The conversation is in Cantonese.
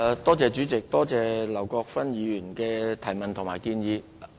多謝劉國勳議員的補充質詢和建議。